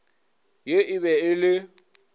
ye e be e le